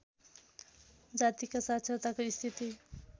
जातिका साक्षरताको स्थिति